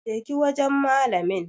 Je ki wajan malamin